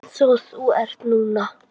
Einsog þú ert núna.